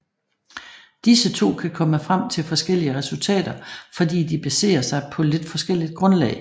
Disse to kan komme frem til forskellige resultater fordi de baserer sig på lidt forskelligt grundlag